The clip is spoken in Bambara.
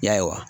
Ya